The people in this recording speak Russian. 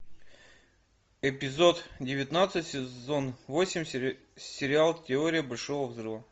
эпизод девятнадцать сезон восемь сериал теория большого взрыва